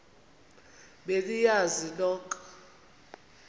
be niyazi nonk